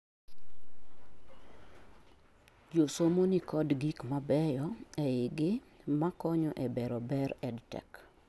josomo nikod gik mabeyo ei gi makonyo e bero ber EdTech